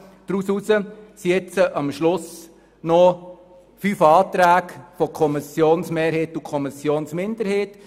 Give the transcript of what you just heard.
Davon geblieben sind nun am Schluss noch fünf Anträge der Kommissionsmehrheit und der Kommissionsminderheit.